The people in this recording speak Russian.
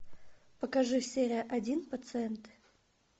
покажи серия один пациент